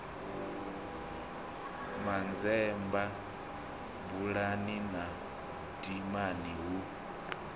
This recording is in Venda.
manzemba buluni na dimani hu